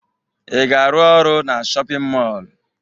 Ị ga-arụ ọrụ na shọpịn mọọlụ?